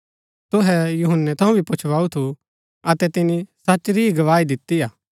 तुहै यूहन्‍नै थऊँ भी पुच्छुवाऊ थू अतै तिनी सच री ही गवाही दिती हा